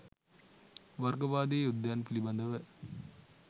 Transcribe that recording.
වර්ගවාදී යුද්ධයන් පිළිබඳව